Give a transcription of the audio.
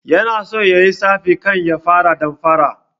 Yana so yayi tsafi kan ya fara damfara